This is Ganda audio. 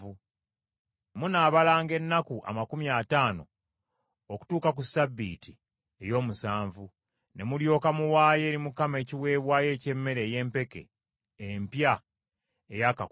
Munaabalanga ennaku amakumi ataano okutuuka ku Ssabbiiti ey’omusanvu, ne mulyoka muwaayo eri Mukama ekiweebwayo eky’emmere ey’empeke empya eyaakakungulwa.